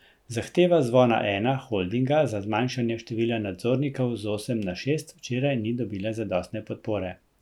Zahteva Zvona Ena Holdinga za zmanjšanje števila nadzornikov z osem na šest včeraj ni dobila zadostne podpore.